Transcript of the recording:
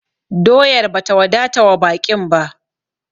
Doyar ba ta wadata wa baƙin ba!